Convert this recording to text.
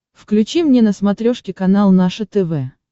включи мне на смотрешке канал наше тв